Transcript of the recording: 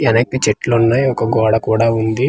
ఎన్నాకి చెట్లు ఉన్నాయి ఒక గోడ కూడా ఉంది.